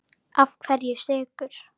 Af hverju Sykur?